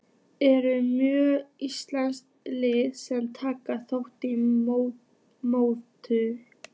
Eru mörg íslensk lið sem taka þátt í mótinu?